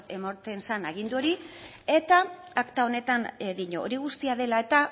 ematen zan agindu hori eta akta honetan dio hori guztia dela eta